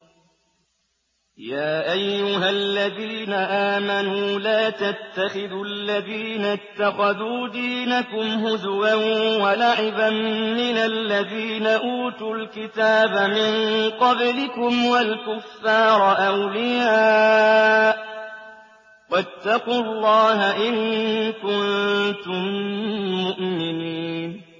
يَا أَيُّهَا الَّذِينَ آمَنُوا لَا تَتَّخِذُوا الَّذِينَ اتَّخَذُوا دِينَكُمْ هُزُوًا وَلَعِبًا مِّنَ الَّذِينَ أُوتُوا الْكِتَابَ مِن قَبْلِكُمْ وَالْكُفَّارَ أَوْلِيَاءَ ۚ وَاتَّقُوا اللَّهَ إِن كُنتُم مُّؤْمِنِينَ